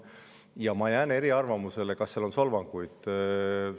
Ja ma jään eriarvamusele selles, kas seal on solvanguid.